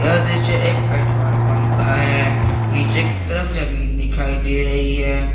यह दृश्य एक पेट्रोल पंप का है नीचे की तरफ जमीन दिखाई दे रही है।